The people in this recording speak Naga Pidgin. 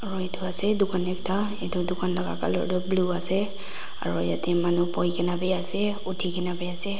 aro edu ase dukan ekta edu dukan la ka colour tu blue ase aro yatae manu boikae na biase uthikae na biase.